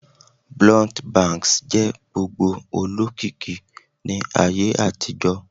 Blunt bangs jẹ gbogbo olokiki ni Aye àtijó